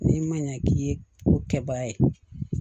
N'i ma ɲɛ k'i ye ko kɛbaga ye